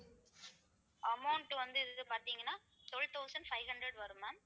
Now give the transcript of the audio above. amount வந்து இது பார்த்தீங்கன்னா twelve thousand five hundred வரும் ma'am